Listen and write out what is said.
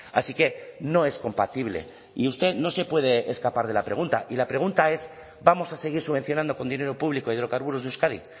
así que no es compatible y usted no se puede escapar de la pregunta y la pregunta es vamos a seguir subvencionando con dinero público hidrocarburos de euskadi